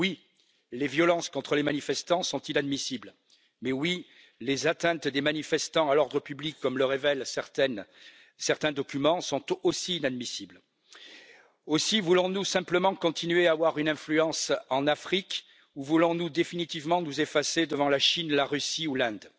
Oui, les violences contre les manifestants sont inadmissibles, mais les atteintes portées par les manifestants à l'ordre public, comme le révèlent certains documents, sont tout aussi inadmissibles. Aussi, voulons nous simplement continuer à avoir une influence en Afrique, ou voulons nous définitivement nous effacer devant la Chine, la Russie ou l'Inde?